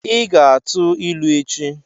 Ị ga-atụ ilu echi!